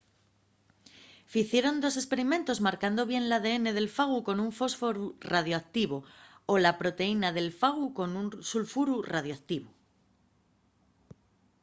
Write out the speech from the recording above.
ficieron dos esperimentos marcando bien l’adn del fagu con un fósforu radioactivo o la proteína del fagu con un sulfuru radioactivo